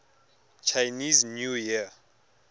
chinese new year